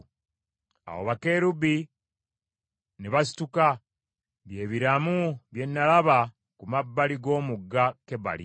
Awo bakerubi ne basituka. Bye biramu bye nalaba ku mabbali g’omugga Kebali.